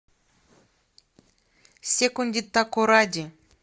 секонди такоради